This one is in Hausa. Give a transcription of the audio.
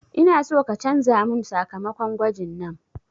Ina so ka canza mun sakamakon gwajin nan